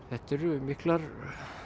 þetta eru miklar